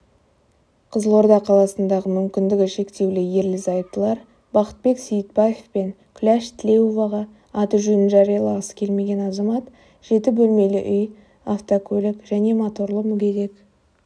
қызылорда қаласындағы мүмкіндігі шектеулі ерлі-зайыптылар бақытбек сейітбаев пен күләш тілеуоваға аты-жөнін жариялағысы келмеген азамат жеті бөлмелі үй автокөлік және моторлы мүгедек